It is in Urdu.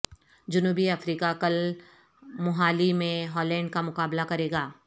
جنوبی افریقہ کل موہالی میں ہالینڈکا مقابلہ کرے گا